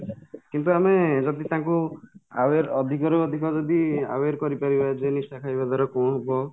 କିନ୍ତୁ ଆମେ ଯଦି ତାଙ୍କୁ aware ଅଧିକ ରୁ ଅଧିକ ଯଦି aware କରିପାରିବା ଯେ ନିଶା ଖାଇବା ଦ୍ୱାରା କୋଉ ରୋଗ